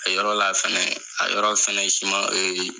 A yɔrɔ la fɛnɛ, a yɔrɔ fɛnɛye